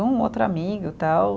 Um, outro amigo, tal.